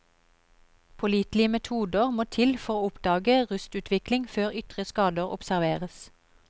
Pålitelige metoder må til for å oppdage rustutvikling før ytre skader observeres.